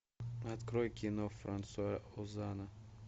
открой кино франсуа озона